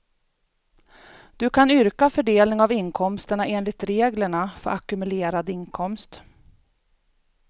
Du kan yrka fördelning av inkomsterna enligt reglerna för ackumulerad inkomst.